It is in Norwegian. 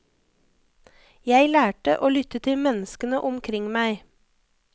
Jeg lærte å lytte til menneskene omkring meg.